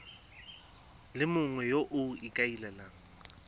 le mongwe yo o ikaelelang